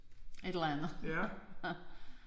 Et eller andet